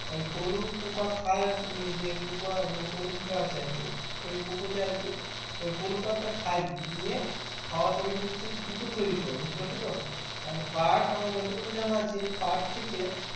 ওই পলু পোঁকা খাই আরকি মানে যে পোঁকা মানে যে পলু পোঁকা আছে আর কি ওই পোঁকা তে আরকি পলু পাতাটা খাই নিয়ে খাওয়ার পরে কিন্তু সে সুতো তৈরি করে বুঝতে পারছো তো and পাট আমার যতটুকু জানা আছে পাট থেকে